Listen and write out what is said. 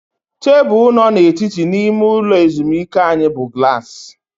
Tebụl nọ n'etiti n'ime ụlọ ezumike anyị bụ glaasị